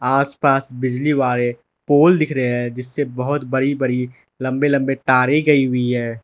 आस पास बिजली वाले पोल दिख रहे हैं जिससे बहोत बड़ी बड़ी लंबे लंबे तारे गई हुई है।